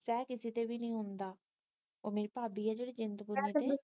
ਸਹਿ ਕਿਸੇ ਤੋਂ ਵੀ ਨਹੀਂ ਹੁੰਦਾ ਉਹ ਮੇਰੀ ਭਾਭੀ ਆ ਜਿਹੜੀ